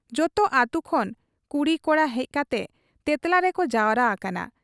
ᱡᱚᱛᱚ ᱟᱹᱛᱩ ᱠᱷᱚᱱ ᱠᱩᱲᱤ ᱠᱚᱲᱟ ᱦᱮᱡ ᱠᱟᱛᱮ 'ᱛᱮᱸᱛᱞᱟ' ᱨᱮᱠᱚ ᱡᱟᱣᱨᱟ ᱟᱠᱟᱱᱟ ᱾